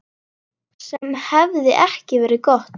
Sem hefði ekki verið gott.